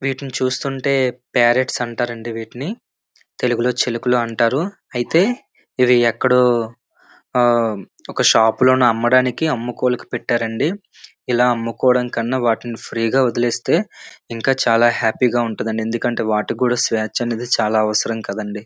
వీటిని చూస్తుంటే ప్యారెట్స్ అంటారండి వీటిని తెలుగులో చిలకలు అంటారు అయితే ఇవి ఎక్కడో ఆ ఒక షాపు లోనే అమ్మడానికి అమ్ముకోలుకి పెట్టారండి ఇలా అమ్ముకోవడం కన్నా వాటిని ఫ్రీ గా వదిలేస్తే ఇంకా చాలా హ్యాపీగా ఉంటుందండి ఎందుకంటే వాటికి కూడా స్వేచ్ఛ అనేది కూడా చాలా అవసరం కదండీ.